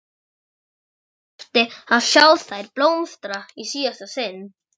Ég þyrfti að sjá þær blómstra í síðasta sinn.